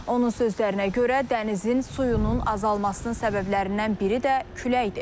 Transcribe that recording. Onun sözlərinə görə, dənizin suyunun azalmasının səbəblərindən biri də küləkdir.